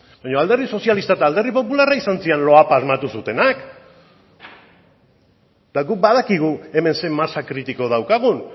baino alderdi sozialista eta alderdi popularra izan ziren loapa asmatu zutenak eta guk badakigu hemen zein masa kritiko daukagun